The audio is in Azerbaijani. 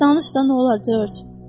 Danış da, nə olar, Corc.